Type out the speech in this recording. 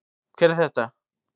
Hver er þetta?